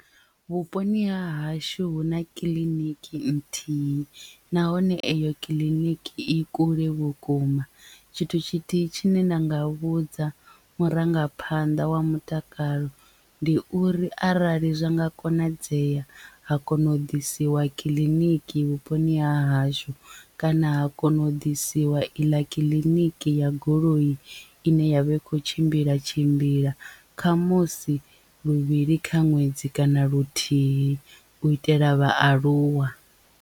Vhuponi ha hashu huna kiḽiniki nthihi nahone eyo kiḽiniki i kule vhukuma tshithu tshithihi tshine nda nga vhudza murangaphanḓa wa mutakalo ndi uri arali zwa nga konadzea ha kona u ḓisiwa kiḽiniki vhuponi ha hashu kana ha kona u ḓisiwa iḽa kiḽiniki ya goloi ine yavha i kho tshimbila tshimbila khamusi luvhili kha ṅwedzi kana luthihi u itela vhaaluwa.